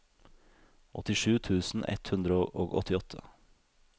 åttisju tusen ett hundre og åttiåtte